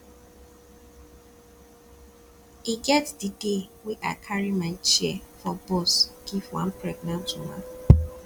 e get di day wey i carry my chair for bus give one pregnant woman